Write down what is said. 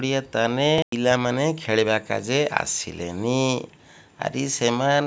ପିଆ ତାନେ ପିଲାମାନେ ଖେଳିବାକାଯେ ଆସିଲେନି‌ ଆରି ସେମାନ୍ --